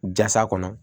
Jasa kɔnɔ